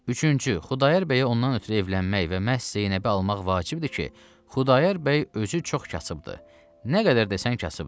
Üçüncü, Xudayar bəy ondan ötrü evlənmək və məhz Zeynəbi almaq vacibdir ki, Xudayar bəy özü çox kasıbdır, nə qədər desən kasıbdır.